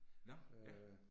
Nåh, ja